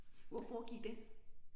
Hvor foregik den?